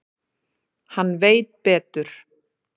Hann veit betur.